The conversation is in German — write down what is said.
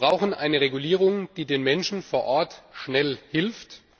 Wir brauchen eine Regulierung, die den Menschen vor Ort schnell hilft.